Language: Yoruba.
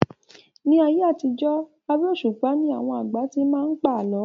Ni ayé àtijọ́ abẹ́ òṣùpá ni àwọn àgbà tí máa ń pa àálọ́